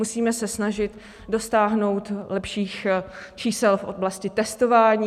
Musíme se snažit dosáhnout lepších čísel v oblasti testování.